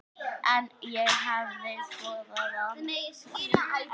En ég hefði skoðað allt.